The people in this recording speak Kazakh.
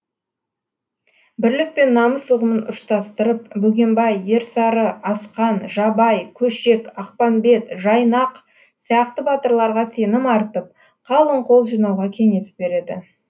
бірлік пен намыс ұғымын ұштастырып бөгенбай ерсары асқан жабай көшек ақпанбет жайнақ сияқты батырларға сенім артып қалың қол жинауға кеңес береді